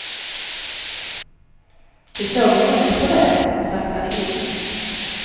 De såg en älg på vägen och saktade in.